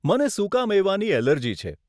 મને સુકા મેવાની એલર્જી છે.